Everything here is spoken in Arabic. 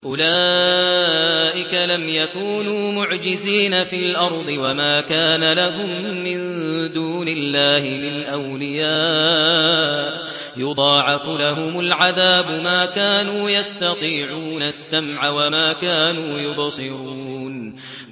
أُولَٰئِكَ لَمْ يَكُونُوا مُعْجِزِينَ فِي الْأَرْضِ وَمَا كَانَ لَهُم مِّن دُونِ اللَّهِ مِنْ أَوْلِيَاءَ ۘ يُضَاعَفُ لَهُمُ الْعَذَابُ ۚ مَا كَانُوا يَسْتَطِيعُونَ السَّمْعَ وَمَا كَانُوا يُبْصِرُونَ